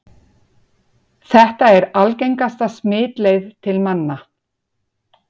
Þetta er algengasta smitleið til manna.